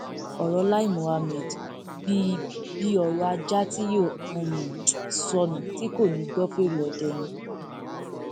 ọrọ lai mohammed bíi bíi ọrọ ajá tí yóò um sọnù tí kò ní í gbọ fẹre ọdẹ ni um